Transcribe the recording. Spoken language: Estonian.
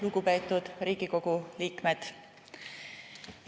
Lugupeetud Riigikogu liikmed!